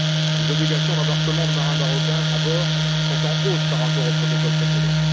Les obligations d'embarquement de marins marocains à bord sont en hausse par rapport au protocole précédent.